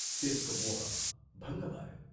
त्यसको मोह भङ्ग भयो।